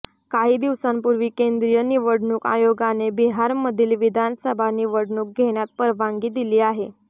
काही दिवसांपूर्वी केंद्रीय निवडणूक आयोगाने बिहारमधील विधानसभा निवडणूक घेण्यात परवानगी दिली आहे